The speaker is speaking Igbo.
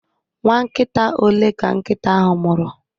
Nwa nkita ole ka nkịta ahụ mụrụ?